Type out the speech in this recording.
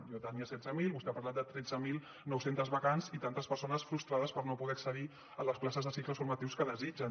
jo tenia setze mil vostè ha parlat de tretze mil nou cents vacants i tantes persones frustrades per no poder accedir a les places de cicles formatius que desitgen